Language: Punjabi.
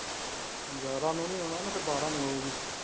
ਗਿਆਰ੍ਹਾਂ ਨੂੰ ਨਹੀਂ ਆਉਣਾ ਫੇਰ ਬਾਰਾਂ ਨੂੰ ਆਊਗੀ।